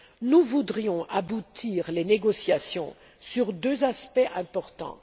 Nous voudrions faire aboutir les négociations sur deux aspects importants.